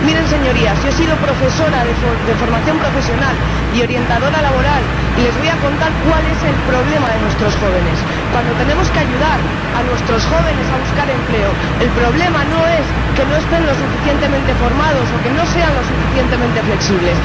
Señorías, yo he sido profesora de formación profesional y orientadora laboral y les voy a contar cuál es el problema de nuestros jóvenes cuando tenemos que ayudar a nuestros jóvenes a buscar empleo, el problema no es que no estén lo suficientemente formados o que no sean lo suficientemente flexibles.